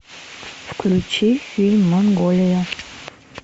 включи фильм монголия